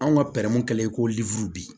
Anw ka pɛrɛ kɛlɛ ye ko bi